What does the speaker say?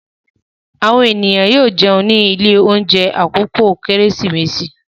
Àwọn ènìyàn yóò jẹun ní ilé-oúnjẹ ní àkókò Kérésìmesì.